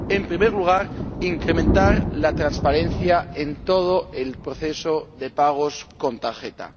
En primer lugar, incrementar la transparencia en todo el proceso de pagos con tarjeta.